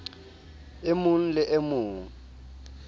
e mong le e mong